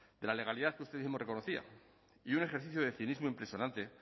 de la legalidad que usted mismo reconocía y un ejercicio de cinismo impresionante